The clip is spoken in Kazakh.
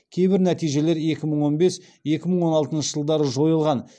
кейбір нәтижелер екі мың он бес екі мың он алтыншы жылдары жойылған